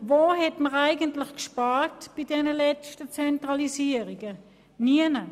Wo hat man eigentlich bei den letzten Zentralisierungen gespart?